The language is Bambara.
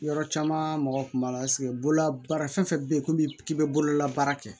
Yɔrɔ caman mɔgɔw kun b'a la bololabaara fɛn fɛn bɛ yen komi k'i bɛ bololabaara kɛ